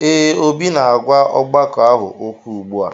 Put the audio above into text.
Ee, Obi na-agwa ọgbakọ ahụ okwu ugbu a